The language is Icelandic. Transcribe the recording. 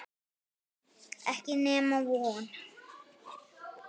Ekki nema von.